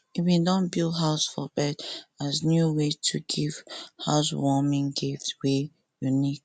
e bin don build house for bird as new way to give housewarming gift wey unique